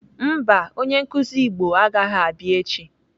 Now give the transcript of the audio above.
Mba, onye nkụzi Igbo agaghị abịa echi.